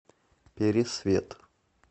пересвет